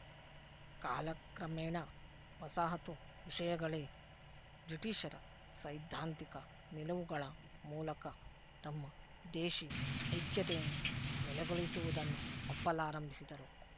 ಕಾಲಕ್ರಮೇಣ ವಸಾಹತು ವಿಶಯಗಳೇ ಬ್ರಿಟೀಶರ ಸೈದ್ಧಾಂತಿಕ ನಿಲುವುಗಳ ಮೂಲಕ ತಮ್ಮ ದೇಶಿ ಐಕ್ಯತೆಯನ್ನು ನೆಲೆಗೊಳಿಸುವುದನ್ನು ಒಪ್ಪಲಾರಂಭಿಸಿದರು